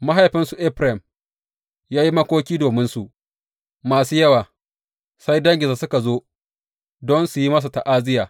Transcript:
Mahaifinsu Efraim ya yi makoki dominsu kwanaki masu yawa sai danginsa suka zo don su yi masa ta’aziyya.